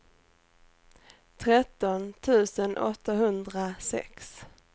tretton tusen åttahundrasex